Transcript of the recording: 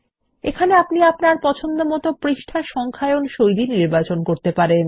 এখানে আপনি আপনার পছন্দমতন পৃষ্ঠার সংখ্যায়ন শৈলী নির্বাচন করতে পারবেন